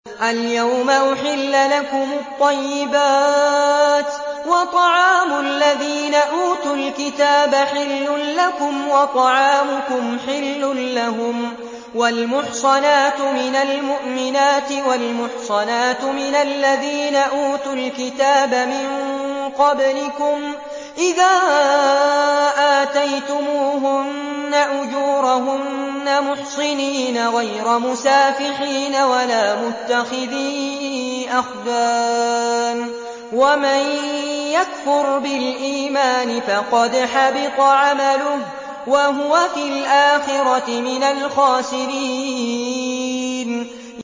الْيَوْمَ أُحِلَّ لَكُمُ الطَّيِّبَاتُ ۖ وَطَعَامُ الَّذِينَ أُوتُوا الْكِتَابَ حِلٌّ لَّكُمْ وَطَعَامُكُمْ حِلٌّ لَّهُمْ ۖ وَالْمُحْصَنَاتُ مِنَ الْمُؤْمِنَاتِ وَالْمُحْصَنَاتُ مِنَ الَّذِينَ أُوتُوا الْكِتَابَ مِن قَبْلِكُمْ إِذَا آتَيْتُمُوهُنَّ أُجُورَهُنَّ مُحْصِنِينَ غَيْرَ مُسَافِحِينَ وَلَا مُتَّخِذِي أَخْدَانٍ ۗ وَمَن يَكْفُرْ بِالْإِيمَانِ فَقَدْ حَبِطَ عَمَلُهُ وَهُوَ فِي الْآخِرَةِ مِنَ الْخَاسِرِينَ